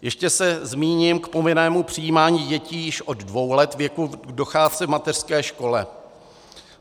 Ještě se zmíním o povinném přijímání dětí již od dvou let věku k docházce v mateřské škole.